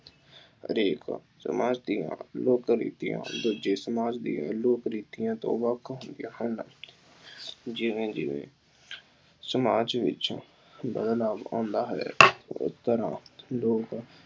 ਹਰੇਕ ਸਮਾਜ ਦੀਆ ਲੋਕ ਰੀਤੀਆਂ ਦੂਜੇ ਸਮਾਜ ਦੀਆਂ ਲੋਕ ਰੀਤੀਆਂ ਤੋਂ ਵੱਖ ਹੁੰਦੀਆਂ ਹਨ। ਜਿਉਂ ਜਿਉਂ ਸਮਾਜ ਵਿੱਚ ਬਦਲਾਅ ਆਉਂਦਾ ਹੈ ਇਸ ਤਰ੍ਹਾਂ